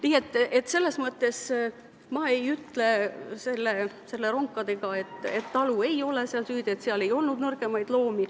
Nii et ma ei ütle selle ronkade juhtumi puhul, et talu ei ole süüdi, et seal ei olnud nõrgemaid loomi.